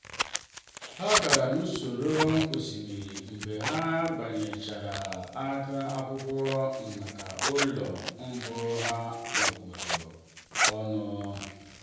ha gara n'ụsọ osimiri mgbe ha bịanyechara aka n'akwụkwọ maka ụlọ mbụ ha nwekọrọ ọnụ.